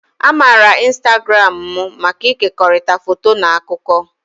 A maara ịnstagramụ maka ịkekọrịta foto na akụkọ.